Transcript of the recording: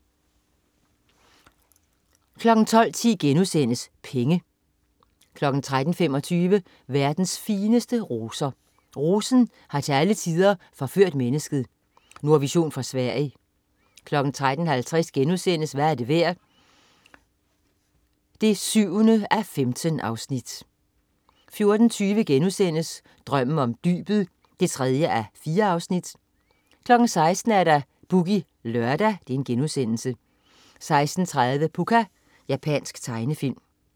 12.10 Penge* 13.25 Verdens fineste roser. Rosen har til alle tider forført mennesket. Nordvision fra Sverige 13.50 Hvad er det værd? 7:15* 14.20 Drømmen om dybet 3:4* 16.00 Boogie Lørdag* 16.30 Pucca. Japansk tegnefilm